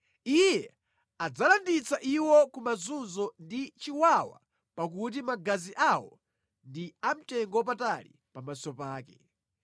Iye adzalanditsa iwo ku mazunzo ndi chiwawa pakuti magazi awo ndi amtengo wapatali pamaso pake.